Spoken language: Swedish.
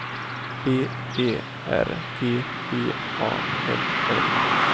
B E R G V A L L